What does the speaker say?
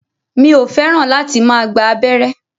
Mi ò fẹ́ràn láti máa gba abẹ́rẹ́